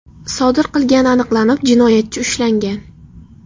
sodir qilgani aniqlanib, jinoyatchi ushlangan.